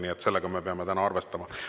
Nii et sellega me peame täna arvestama.